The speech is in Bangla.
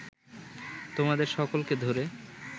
তোমাদের সকলকে ধ’রে